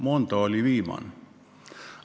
Mondot nimetati viimasena.